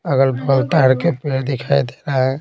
अगल-बगल तार के पेड़ दिखाई दे रहा है।